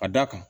A da kan